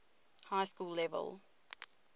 high school level